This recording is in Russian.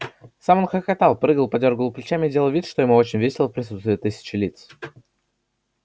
сам он хохотал прыгал подёргивал плечами и делал вид что ему очень весело в присутствии тысячи лиц